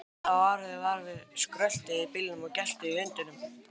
Hann hlaut að hafa orðið var við skröltið í bílnum og geltið í hundinum.